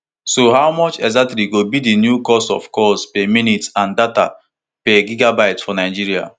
so how much exactly go be di new cost of calls per minute and data per gigabyte for nigeria